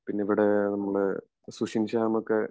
പിന്നെ ഇവിടെ നമ്മടെ സുഷിൻ ശ്യാമോക്കെ